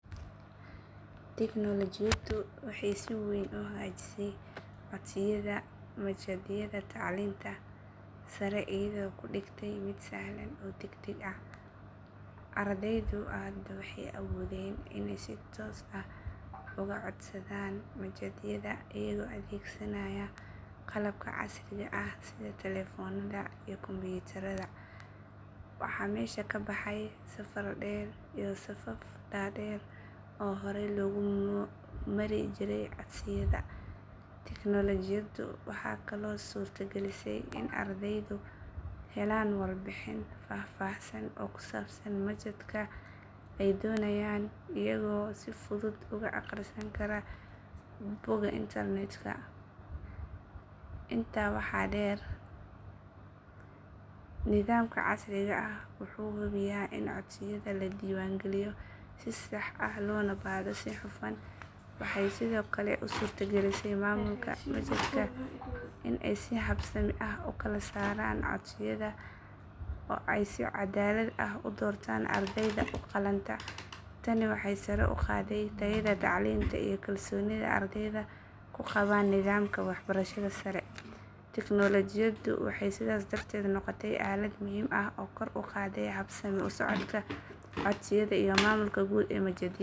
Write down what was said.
Tignoolajiyadu waxay si weyn u hagaajisay codsiyada machadyada tacliinta sare iyadoo ka dhigtay mid sahlan oo degdeg ah. Ardaydu hadda waxay awoodeen inay si toos ah uga codsadaan machadyada iyagoo adeegsanaya qalabka casriga ah sida telefoonada iyo kombiyuutarada. Waxaa meesha ka baxay safar dheer iyo safaf dhaadheer oo horay loogu mari jiray codsiyada. Tignoolajiyadu waxay kaloo suurtagelisay in ardaydu helaan warbixin faahfaahsan oo ku saabsan machadka ay doonayaan iyagoo si fudud uga akhrisan kara bogagga internetka. Intaa waxaa dheer, nidaamka casriga ah wuxuu hubiyaa in codsiyada la diiwaangeliyo si sax ah loona baadho si hufan. Waxay sidoo kale u suurtagelisay maamulka machadka in ay si habsami ah u kala saaraan codsiyada oo ay si caddaalad ah u doortaan ardayda u qalanta. Tani waxay sare u qaaday tayada tacliinta iyo kalsoonida ardayda ku qabaan nidaamka waxbarashada sare. Tignoolajiyadu waxay sidaas darteed noqotay aalad muhiim ah oo kor u qaadday habsami u socodka codsiyada iyo maamulka guud ee machadyada.